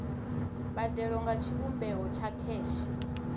mbadelo nga tshivhumbeo tsha kheshe